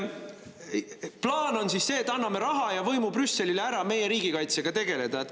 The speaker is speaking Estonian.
Plaan on siis see, et anname Brüsselile ära raha ja võimu meie riigikaitsega tegelemiseks.